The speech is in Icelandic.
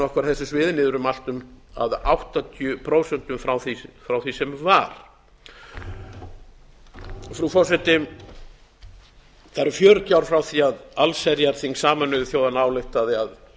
á þessum sviðum miðar um allt um áttatíu prósent frá því sem var frú forseti það eru fjörutíu ár frá því að allsherjarþing sameinuðu þjóðanna ályktaði að